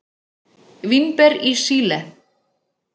Vínber í Síle.